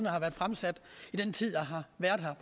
har været fremsat i den tid jeg har været her